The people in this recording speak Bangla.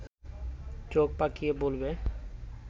চোখ পাকিয়ে বলবে